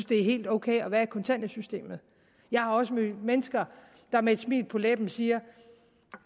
det er helt ok at være i kontanthjælpssystemet jeg har også mødt mennesker der med et smil på læben siger